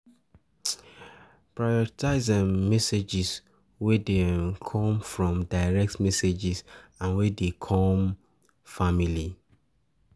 Prioritize um messages wey de um come from direct message and wey dey come family